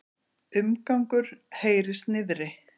Umgangur heyrist niðri.